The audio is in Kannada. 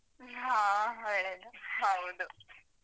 ಹಾ ಹೌದು.